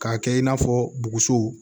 K'a kɛ i n'a fɔ buguso